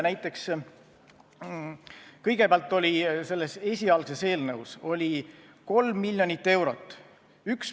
Näiteks, kõigepealt oli selles esialgses eelnõus 3 miljonit eurot.